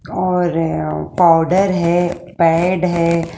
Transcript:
और यहां पाउडर है पैड है।